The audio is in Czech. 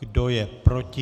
Kdo je proti?